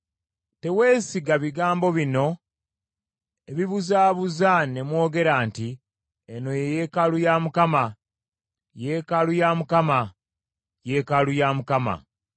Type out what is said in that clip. Teweesiga bigambo bino ebibuzaabuza ne mwogera nti, ‘Eno ye yeekaalu ya Mukama , yeekaalu ya Mukama , yeekaalu ya Mukama !’